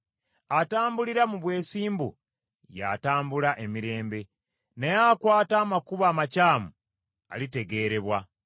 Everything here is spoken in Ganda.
Atambulira mu bwesimbu y’atambula emirembe, naye akwata amakubo amakyamu alitegeerebwa.